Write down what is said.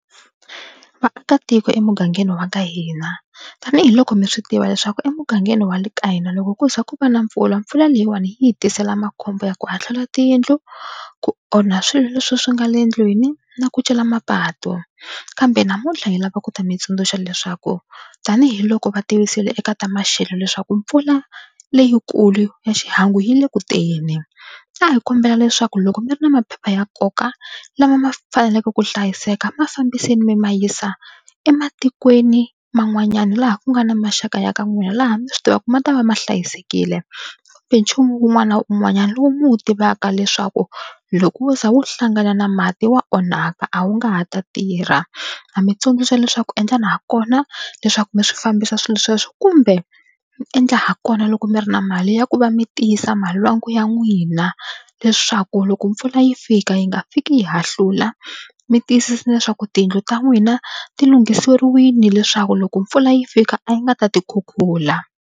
Vaakatiko emugangeni wa ka hina tanihiloko mi swi tiva leswaku emugangeni wa le ka hina loko ku za ku va na mpfula mpfula leyiwani yi hi tisela makhombo ya ku hahlula tiyindlu, ku onha swilo leswi swi nga le endlwini na ku cela mapatu kambe namuntlha hi lava ku ta mi tsundzuxa leswaku tanihiloko va tivisile eka ta maxelo leswaku mpfula leyikulu ya xihangu yi le ku teni a hi kombela leswaku loko mi ri na maphepha ya nkoka lama ma faneleke ku hlayiseka ma fambiseni mi ma yisa ematikweni man'wanyana laha ku nga na maxaka ya ka n'wina laha mi swi tivaka ku ma ta ma ma hlayisekile kumbe nchumu wun'wana na wun'wanyana lowu mi wu tivaka leswaku loko wo ze wo hlangana na mati wa onhaka a wu nga ha ta tirha. Na mi tsundzuxa leswaku endlani hakona leswaku mi swi fambisa swilo sweswo kumbe mi endla hakona loko mi ri na mali ya ku va mi tiyisa malwangu ya n'wina leswaku loko mpfula yi fika yi nga fiki yi hahlula mi tiyisisa leswaku tiyindlu ta n'wina ti lunghisiwile leswaku loko mpfula yi fika a yi nga ta ti khukhula.